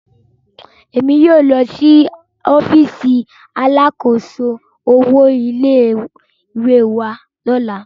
Emi yóò lọ si ọfiisi alákòóso owo ilé ìwé wa lọla